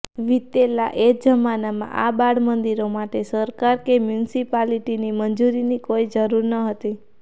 વીતેલા એ જમાનામાં આ બાળમંદિરો માટે સરકાર કે મ્યુનિસિપાલિટીની મંજૂરીની કોઈ જરૂર ન હતી